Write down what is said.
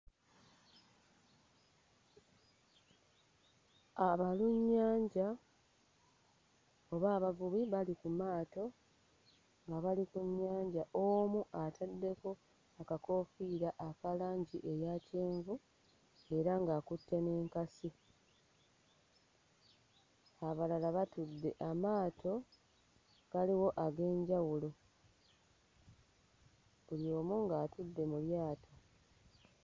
Abalunnyanja oba abavubi bali ku maato nga bali ku nnyanja, omu ataddeko akakoofiira aka langi eya kyenvu era ng'akutte n'enkasi, abalala batudde amaato galiwo ag'enjawulo. Buli omu ng'atudde mu lyato.